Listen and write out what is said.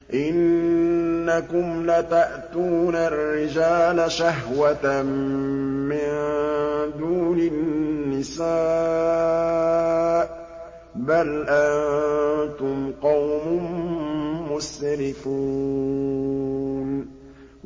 إِنَّكُمْ لَتَأْتُونَ الرِّجَالَ شَهْوَةً مِّن دُونِ النِّسَاءِ ۚ بَلْ أَنتُمْ قَوْمٌ مُّسْرِفُونَ